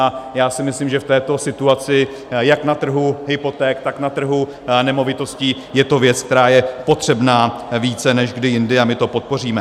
A já si myslím, že v této situaci jak na trhu hypoték, tak na trhu nemovitostí je to věc, která je potřebná více než kdy jindy, a my to podpoříme.